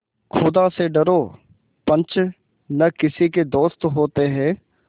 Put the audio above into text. खुदा से डरो पंच न किसी के दोस्त होते हैं